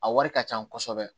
A wari ka ca kosɛbɛ